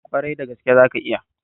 Ƙwarai da gaske, zaka iya.